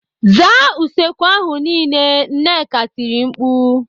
"Zaa usekwu ahụ niile!" Nneka tiri mkpu.